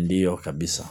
ndio kabisa.